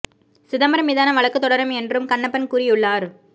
சிதம்பரம் மீதான வழக்குத் தொடரும் என் றும் கண்ணப்பன் கூறியுள்ளார்